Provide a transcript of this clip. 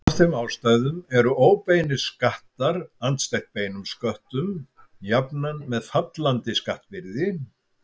Af þeim ástæðum eru óbeinir skattar andstætt beinum sköttum jafnan með fallandi skattbyrði.